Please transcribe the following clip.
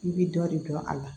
I bɛ dɔ de dɔn a la